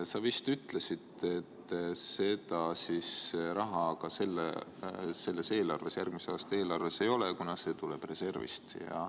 Sa vist ütlesid, et seda raha selles eelarves, järgmise aasta eelarves ei ole, kuna see tuleb reservist.